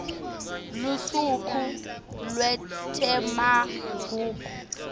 lusuku lwetemagugu